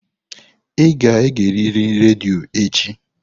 Ị ga-egerịrị redio echi!